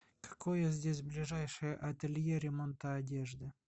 какое здесь ближайшее ателье ремонта одежды